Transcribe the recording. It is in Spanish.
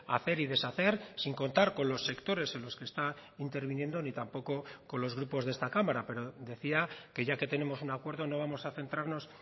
hacer y deshacer sin contar con los sectores en los que está interviniendo ni tampoco con los grupos de esta cámara pero decía que ya que tenemos un acuerdo no vamos a centrarnos